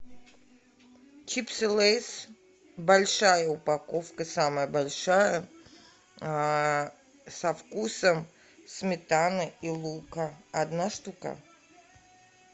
чипсы лейс большая упаковка самая большая со вкусом сметаны и лука одна штука